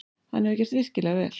Hann hefur gert virkilega vel.